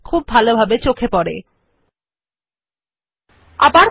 this feature is more obvious when you have a line or paragraph of text